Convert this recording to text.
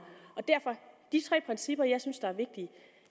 de tre principper jeg synes er vigtige